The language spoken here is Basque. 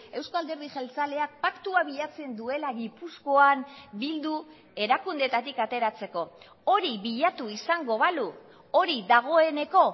euzko alderdi jeltzaleak paktua bilatzen duela gipuzkoan bildu erakundeetatik ateratzeko hori bilatu izango balu hori dagoeneko